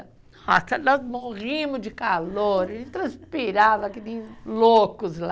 Nossa, nós morríamos de calor, e transpirava que nem loucos lá.